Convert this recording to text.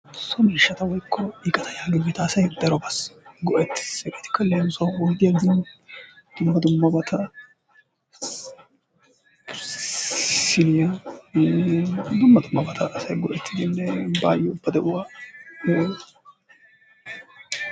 So miishshata woykko iqata giyogeta asay darobassi go'ettees. Hegeetikka leemisuwaawu oyddiya gin dumma dummabata siiniya eee dumma dummabata asay go'ettidine baayo ba de'uwa woy.....